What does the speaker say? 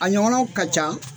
A ɲɔgɔnɔw ka ca.